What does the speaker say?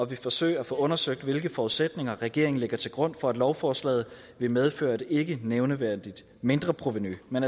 vil forsøge at få undersøgt hvilke forudsætninger regeringen lægger til grund for at lovforslaget vil medføre et ikkenævneværdigt mindreprovenu men